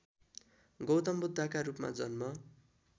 गौतमबुद्धका रूपमा जन्म